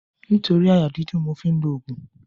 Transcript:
Nítorí àyà dídùn ni mo fi ń òògùn.